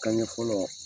Kan ɲɛ fɔlɔ